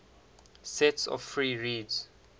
sets of free reeds